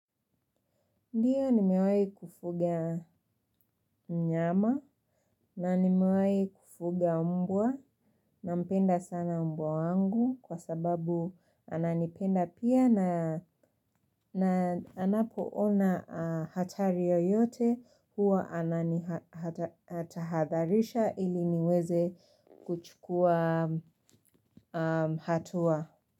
Ndiyo nimewahi kufuga mnyama na nimewai kufuga mbwa na mpenda sana mbwa wangu kwa sababu ananipenda pia na anapo ona hatari yoyote huwa anani hatahadharisha ili niweze kuchukua hatua.